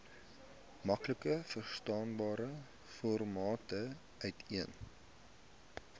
maklikverstaanbare formaat uiteen